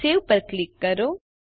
save પર click કરો